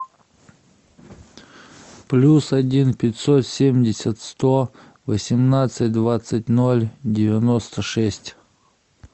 плюс один пятьсот семьдесят сто восемнадцать двадцать ноль девяносто шесть